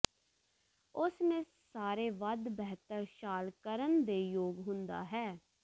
ਉਸ ਨੇ ਸਾਰੇ ਵੱਧ ਬਿਹਤਰ ਛਾਲ ਕਰਨ ਦੇ ਯੋਗ ਹੁੰਦਾ ਹੈ